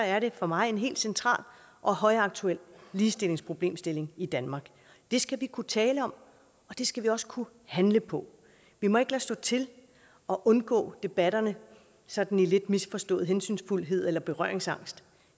er det for mig en helt central og højaktuel ligestillingsproblemstilling i danmark det skal vi kunne tale om og det skal vi også kunne handle på vi må ikke lade stå til og undgå debatterne i sådan lidt misforstået hensynsfuldhed eller berøringsangst